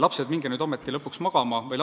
Lapsed, minge nüüd ometi lõpuks magama!